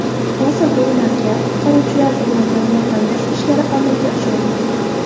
Hozirda ularga qutqaruvchilar tomonidan yordam berish ishlari amalga oshirilmoqda.